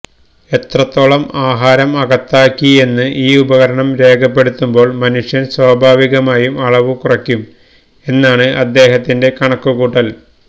എത്രത്തോളം ആഹാരം അകത്താക്കി എന്ന് ഈ ഉപകരണം രേഖപ്പെടുത്തുമ്പോൾ മനുഷ്യൻ സ്വാഭാവികമായും അളവും കുറക്കും എന്നാണ് അദ്ദേഹത്തിന്റെ കണക്കുകൂട്ടൽ